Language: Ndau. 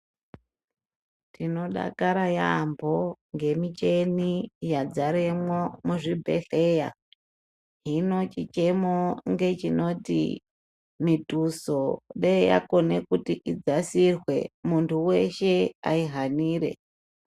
Tinodakara yambo ngemicheni yadzaremwo muzvibhedhleya hino chichemo ngechinoti mituso deyi yakone kuti idzasirwe muntu weshe aihanire.